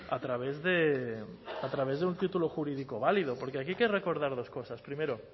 a través de a través de un título jurídico válido porque aquí hay que recordar dos cosas primero